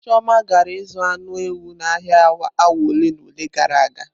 Chioma gara ịzụ anụ ewu n'ahịa awa ole na ole gara aga.